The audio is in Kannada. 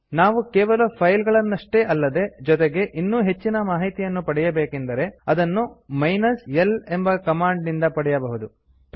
ನಾವು ಕೇವಲ ಫೈಲ್ ಗಳನ್ನಷ್ಟೇ ಅಲ್ಲದೆ ಜೊತೆಗೆ ಇನ್ನೂ ಹೆಚ್ಚಿನ ಮಾಹಿತಿಯನ್ನು ಪಡೆಯಬೇಕೆಂದರೆ ಅದನ್ನು ಮೈನಸ್ l ಎಂಬ ಕಮಾಂಡ್ ನಿಂದ ಪಡೆಯಬಹುದು